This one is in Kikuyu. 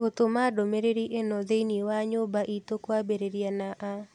Gũtũma ndũmĩrĩri ĩno thĩinĩ wa nyũmba itũ kwambĩrĩria na a